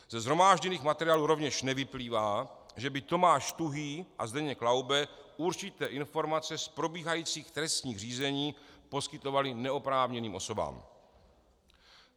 Ze shromážděných materiálů rovněž nevyplývá, že by Tomáš Tuhý a Zdeněk Laube určité informace z probíhajících trestních řízení poskytovali neoprávněným osobám.